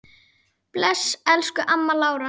Bless, elsku amma Lára.